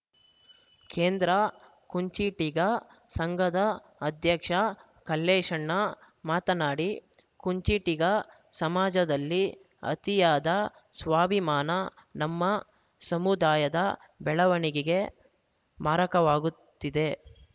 ಕೇಂದ್ರ ಕುಂಚಿಟಿಗ ಸಂಘದ ಅಧ್ಯಕ್ಷ ಕಲ್ಲೇಶಣ್ಣ ಮಾತನಾಡಿ ಕುಂಚಿಟಿಗ ಸಮಾಜದಲ್ಲಿ ಅತಿಯಾದ ಸ್ವಾಭಿಮಾನ ನಮ್ಮ ಸಮುದಾಯದ ಬೆಳವಣಿಗೆಗೆ ಮಾರಕವಾಗುತ್ತಿದೆ